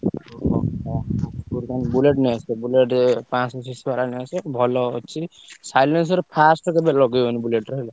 ଓହୋ ହ ମୁଁ କହିଲି ତମେ Bullet ନେଇଆସିବ Bullet ପାଂଶହ CC ବାଲା ନେଇଆସିବ ଭଲ ଅଛି। silencer ର silence first କେବେ ଲଗେଇବନି Bullet ରେ ହେଲା।